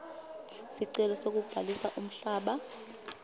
sicelo sekubhalisa umhlaba